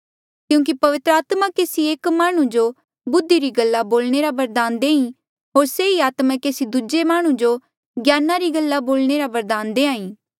क्यूंकि पवित्र आत्मा केसी एक माह्णुं जो बुद्धि री गल्ला बोलणे रा बरदान देईं होर से ही आत्मा केसी दूजे माह्णुं जो ज्ञाना री गल्ला बोलणे रा बरदान देईं